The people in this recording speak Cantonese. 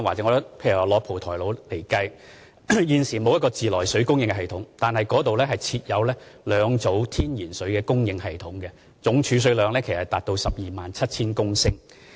以蒲台島為例，雖然現時沒有自來水供應系統，但該島設有兩組天然水的供應系統，總儲水量達到 127,000 公升。